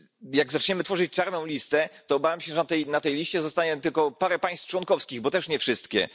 Jak zaczniemy tworzyć czarną listę, to obawiam się, że na tej liście zostanie tylko parę państw członkowskich, bo zapewne nie wszystkie.